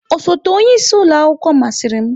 Osote onye isi ụlọ akwụkwọ masịrị m.